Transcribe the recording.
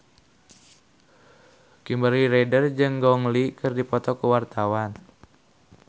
Kimberly Ryder jeung Gong Li keur dipoto ku wartawan